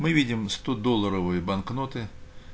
мы видим стодолларовые банкноты